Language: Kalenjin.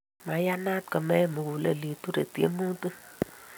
Maiyanat komein mugulel, iture tiemutik